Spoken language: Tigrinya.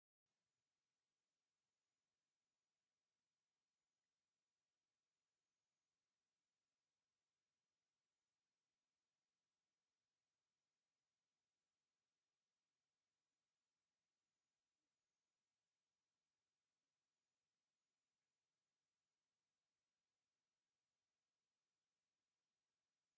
ካብ ናይ ባህልን ጥበብን ዝጥቀስ ኣብዚ ሓንቲ ሰበይቲ ብባህላዊ ኣገባብ ሕሩጭ ትደቁስን ትጥሕንን ኣላ። ጻዕርን ባህላዊ ህይወትን ዝተሓዋወሰ ሂወት ውን እዩ።